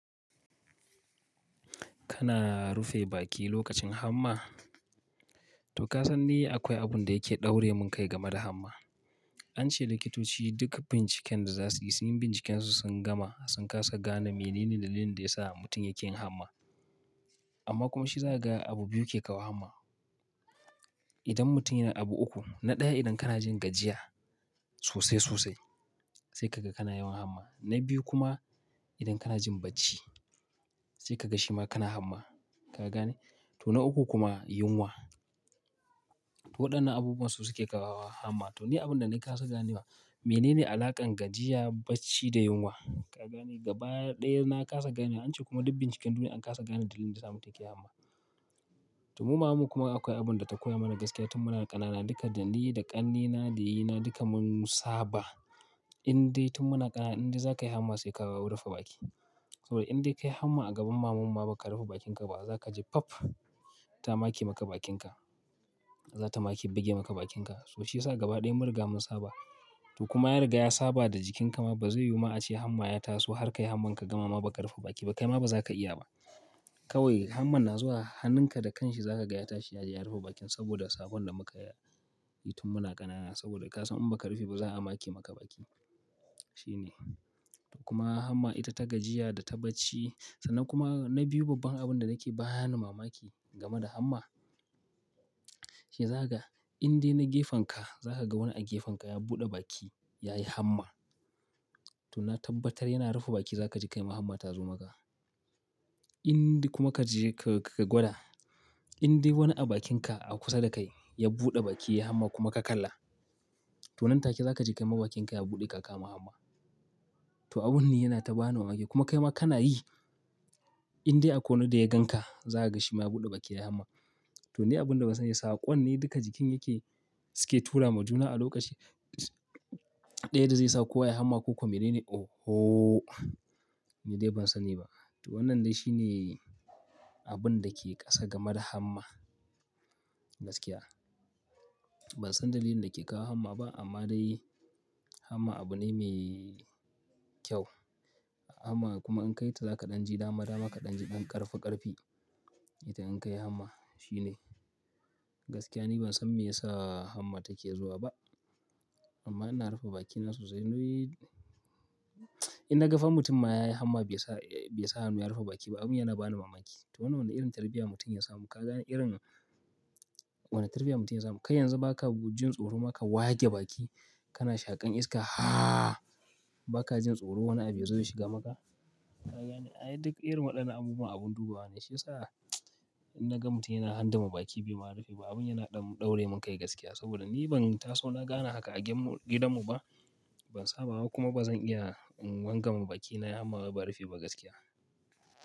Kana rufe baki lokacin hamma? To ka san ni akwai abun da yake daure mun kai game da hamma. An ce likitoci duk binciken da za su yi, sun yi binciken su sun gama sun kasa gane menene dalilin da ya sa mutum yake yin hamma. Amma kuma shi za ka ga abu biyu ke kawo hamma. Idan mutum yana abu uku, na ɗaya idan kana jin gajiya sosai sosai sai kaga kana yawan hamma. Na biyu kuma idan kana jin bacci sai ka ga shi ma kana hamma. Ka gane? To na uku kuma yunwa. Waɗannan abubuwan su suke kawo hamma. To ni abun da na kasa ganewa menene alaƙan gajiya, bacci da yunwa? Ka gane gaba ɗaya na kasa gane. An ce kuma duk binciken duniya an kasa gane dalilin da ya sa mu ke yi hamma. To mu maman mu kuma akwai abun da ta koya mana gaskiya tun muna ƙanana. Duka da ni da ƙannena da yayina duka mun saba indai tun muna ƙanana indai za ka yi hamma sai ka rufe baki. Saboda inbdai ka yi hamma a gaban mamanmu ba ka rufe bakinka ba za ka ji faff ta make maka bakin ka. Za ta make buge maka bakin ka. Shi ya sa gaba ɗaya mun riga mun saba. To kuma ya riga ya saba da jikin ka ma ba zai yiwu ma a ce hamma ya taso har ka yi hamman ka gama ba ka rufe baki ba. Kai ma ba za ka iya ba. Kawai hamman na zuwa hannunka da kanshi za ka gaya tashi yaji ya rufe bakin saboda sabon da muka yi tun muna ƙanana. Saboda ka san in ba ka rufe ba za a make maka baki. Shi ne. Kuma hamma ita ta gajiya da ta bacci. Sannan kuma na biyu babban abun da nake bani mamaki game da hamma shi ya zaka ga in de na gefen ka za ka ga wani a gefen ka ya buɗe baki ya yi hamma. To na tabbatar yana rufe baki za ka ji kai ma hamma ta zo maka. Inde kuma ka je ka, ka gwada indai wani a bakin ka a kusa da kai ya buɗe baki ya yi hamma kuma ka kalla. To nan take za ka ji kai ma bakin ka ya buɗe ka kama hamma. To abun ne yana ta ba ni mamaki. Kuma kai ma kana yi indai akwai wani da ya gan ka za ka ga shi ma ya buɗe baki ya yi hamma. To ni abun da ban san me ya sa ba ƙwan ne duka jikin yake, suke tura ma juna a lokaci. Ɗaya da zai sa kowa ya yi hamma ko kuma menene? Oho! Ni dai ban sani ba. To wannan dai shi ne abun da ke ƙasa game da hamma gaskiya. Ban san dalilin da ke kawo hamma ba amma dai hamma abu ne mai kyau. Hamma kuma in kai ta za ka ɗan ji dama dama ka ɗan ji ɗan ƙarfi ƙarfi. Ita in ka yi hamma. Shi ne. Gaskiya ni ban san me yasa hamma take zuwa ba. Amma ina rufe bakina sosai. Indai ina ga fa mutum ma ya yi hamma bai sa, bai sa hannu ya rufe baki ba abin yana bani mamaki. To wannan wani irin tarbiyya mutum ya samu. Ka gane irin, wannan tarbiyya mutum ya samu. Kai yanzu ba ka jin tsoro ma ka wage baki kana shaƙan iska. Haa! Ba ka jin tsoro wani abu ya zo ya shiga maka. Ka gane? Ai duk irin waɗannan abubuwan abun dubawa ne. Shi ya sa in na ga mutum yana hangame baki bai ma rufe ba abin yana ɗaure mun kai gaskiya. Saboda ni ban taso na ga ana haka a gidanmu ba. Ban saba ba kuma ba zan iya wangame baki na yi hamma ba ban rufe ba gaskiya.